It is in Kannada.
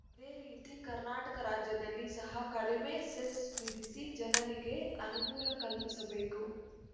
ಅದೇ ರೀತಿ ಕರ್ನಾಟಕ ರಾಜ್ಯದಲ್ಲಿ ಸಹ ಕಡಿಮೆ ಸೆಸ್‌ ವಿಧಿಸಿ ಜನರಿಗೆ ಅನುಕೂಲ ಕಲ್ಪಿಸಬೇಕು